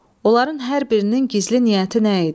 Onların hər birinin gizli niyyəti nə idi?